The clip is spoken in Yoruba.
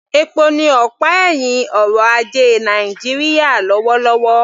Epo ni ọ̀pá ẹ̀hìn ọrọ̀ ajé Nàìjíríà lọ́wọ́lọ́wọ́